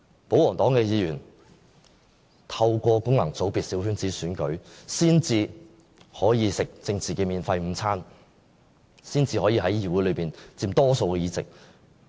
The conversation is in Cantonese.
保皇黨議員透過功能界別的小圈子選舉才可以吃政治免費午餐，才可以在議會內佔大多數議席。